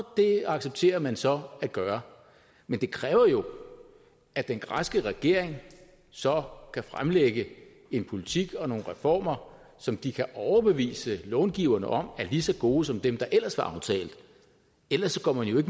det accepterer man så at gøre men det kræver jo at den græske regering så kan fremlægge en politik og nogle reformer som de kan overbevise långiverne om er lige så gode som dem der ellers var aftalt ellers går man jo